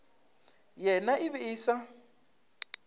yena e be e sa